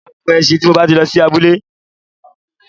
Mo máa gun e̩s̩in tí mo bá ti lo̩ sí abúlé.